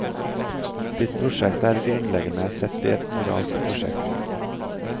Ditt prosjekt er grunnleggende sett et moralsk prosjekt.